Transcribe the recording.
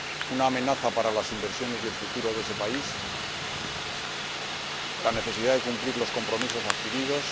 una amenaza para las inversiones y el futuro de ese país la necesidad de cumplir los compromisos adquiridos